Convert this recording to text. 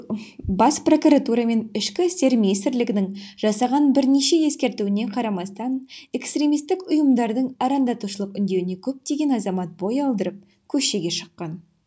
бас прокуратура мен ішкі істер министрлігінің жасаған бірнеше ескертуіне қарамастан экстремистік ұйымдардың арандатушылық үндеуіне көптеген азамат бой алдырып көшеге шыққан